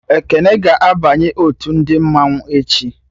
Ekene ga-abanye otu ndị mmanwụ echi